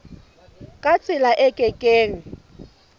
ka tsela e ke keng